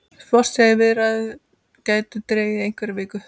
Sport segir að viðræður gætu dregist í einhverjar vikur